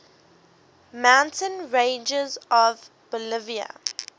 mountain ranges of bolivia